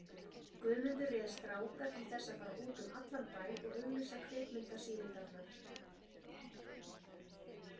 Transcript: Guðmundur réð stráka til þess að fara út um allan bæ og auglýsa kvikmynda- sýningarnar.